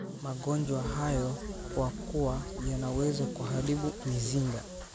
magonjwa hayo kwa kuwa yanaweza kuharibu mizinga